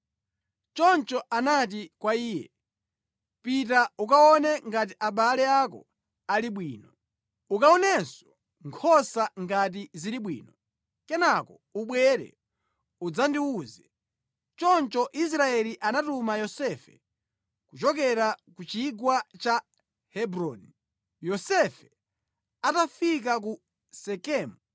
Choncho anati kwa iye, “Pita ukaone ngati abale ako ali bwino. Ukaonenso nkhosa ngati zili bwino. Kenaka ubwere udzandiwuze.” Choncho Israeli anatuma Yosefe kuchokera ku chigwa cha Hebroni. Yosefe atafika ku Sekemu,